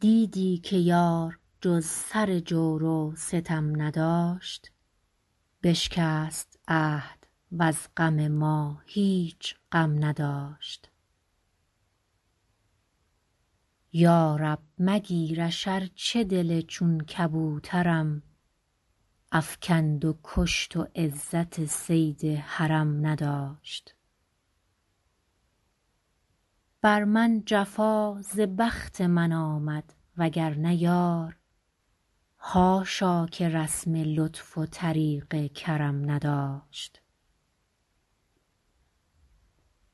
دیدی که یار جز سر جور و ستم نداشت بشکست عهد وز غم ما هیچ غم نداشت یا رب مگیرش ارچه دل چون کبوترم افکند و کشت و عزت صید حرم نداشت بر من جفا ز بخت من آمد وگرنه یار حاشا که رسم لطف و طریق کرم نداشت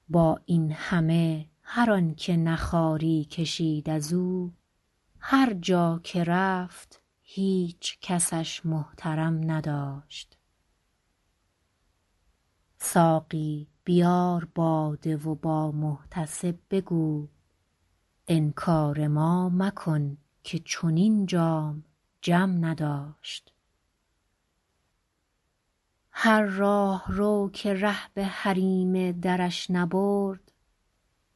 با این همه هر آن که نه خواری کشید از او هر جا که رفت هیچ کسش محترم نداشت ساقی بیار باده و با محتسب بگو انکار ما مکن که چنین جام جم نداشت هر راهرو که ره به حریم درش نبرد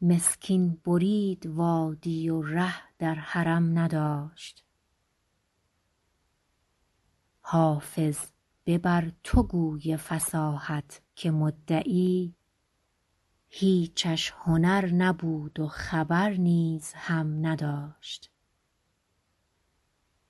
مسکین برید وادی و ره در حرم نداشت حافظ ببر تو گوی فصاحت که مدعی هیچش هنر نبود و خبر نیز هم نداشت